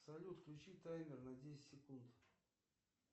салют включи таймер на десять секунд